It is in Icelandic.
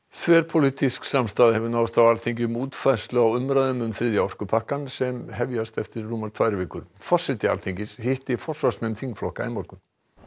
þverpólitísk samstaða hefur náðst á Alþingi um útfærslu á umræðum um þriðja orkupakkann sem hefjast eftir rúmar tvær vikur forseti Alþingis hitti forsvarsmenn þingflokka í morgun